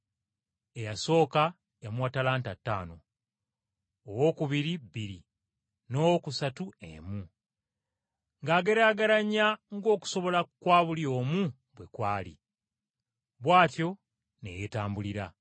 Eyasooka yamuwa ttalanta ttaano, owookubiri bbiri n’owookusatu emu, ng’ageraageranya ng’okusobola kwa buli omu bwe kwali. Bw’atyo ne yeetambulira.